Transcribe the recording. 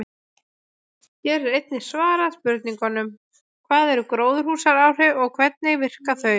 Hér er einnig svarað spurningunum: Hvað eru gróðurhúsaáhrif og hvernig virka þau?